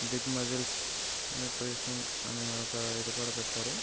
Big muscles అని ఒక ఇది కూడా పెట్టారు.